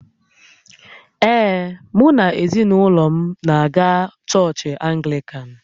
Ee, mụ na ezinaụlọ m na-aga chọọchị Anglịkan